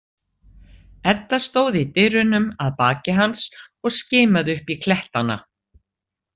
Edda stóð í dyrunum að baki hans og skimaði upp í klettana.